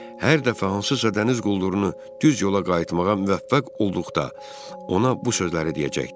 Hər dəfə hansısa dəniz quldurunu düz yola qayıtmağa müvəffəq olduqda ona bu sözləri deyəcəkdi.